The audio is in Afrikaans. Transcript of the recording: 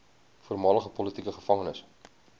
voormalige politieke gevangenes